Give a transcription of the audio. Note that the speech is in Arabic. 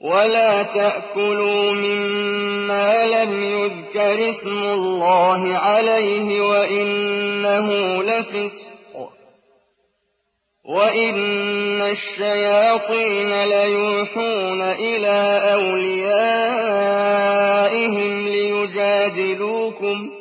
وَلَا تَأْكُلُوا مِمَّا لَمْ يُذْكَرِ اسْمُ اللَّهِ عَلَيْهِ وَإِنَّهُ لَفِسْقٌ ۗ وَإِنَّ الشَّيَاطِينَ لَيُوحُونَ إِلَىٰ أَوْلِيَائِهِمْ لِيُجَادِلُوكُمْ ۖ